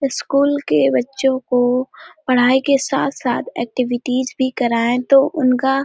school के बच्चों को पढ़ाई के साथ-साथ एक्टिविटीस भी कराए तो उनका --